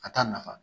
A t'a nafa